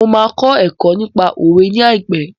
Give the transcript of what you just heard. Mo máa kọ́ ẹ̀kọ́ nípa òwe ní àìpé.